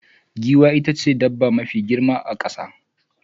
Giwa itace dabba mafi girma a kasa.